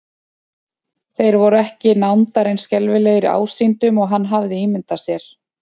Þeir voru ekki nándar eins skelfilegir ásýndum og hann hafði ímyndað sér.